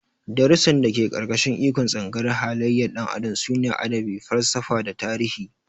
Darussan da ke ƙarƙashin ikon Tsangayar halayyar ɗan adam sune Adabi, Falsafa da Tarihi.